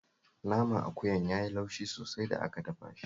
Naman akuyan ya yi laushi sosai da aka dafa shi